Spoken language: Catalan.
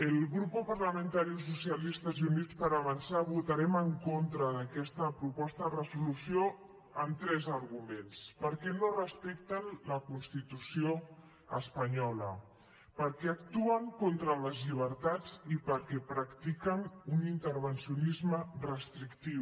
el grup parlamentari socialistes i units per avançar votarem en contra d’aquesta proposta de resolució amb tres arguments perquè no respecten la constitució espanyola perquè actuen contra les llibertats i perquè practiquen un intervencionisme restrictiu